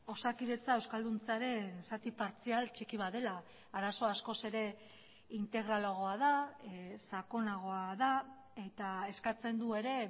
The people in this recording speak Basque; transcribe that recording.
osakidetza euskalduntzearen zati partzial txiki bat dela arazoa askoz ere integralagoa da sakonagoa da eta eskatzen du ere